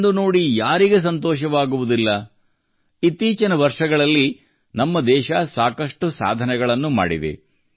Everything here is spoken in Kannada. ಇದನ್ನು ನೋಡಿ ಯಾರಿಗೆ ಸಂತೋಷವಾಗುವುದಿಲ್ಲ ಇತ್ತೀಚಿನ ವರ್ಷಗಳಲ್ಲಿ ನಮ್ಮ ದೇಶವು ಸಾಕಷ್ಟು ಸಾಧನೆಗಳನ್ನು ಮಾಡಿದೆ